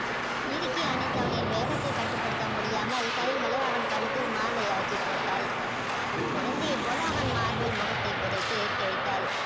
இருக்கி அனைதவனின் வேகதை கட்டு படுத்த முடியாமல் கைகளை அவன் கழுத்தில் மாலையாக்கி போட்டால குழந்தையை போல அவன் மார்பில் முகத்தை புதைத்து